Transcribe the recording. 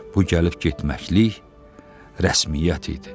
Bu gəlib getməkliyin rəsmiyyət idi.